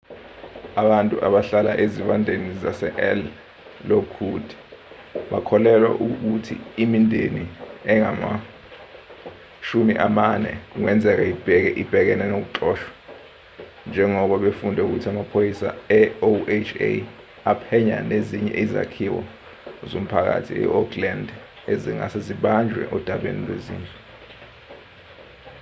abantu abahlala ezivandeni zasel lockwood bakholelwa ukuthi imindeni engama 40 kungenzeka ibhekene nokuxoshwa njengoba befunde ukuthi amaphoyisa eoha aphenya nezinye izakhiwo zomphakathi eoakland ezingase zibanjwe odabeni lwezindlu